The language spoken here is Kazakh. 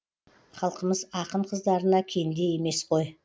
халқымыз ақын қыздарына кенде емес қой